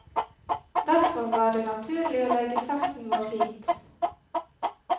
Derfor var det naturlig å legge festen vår hit.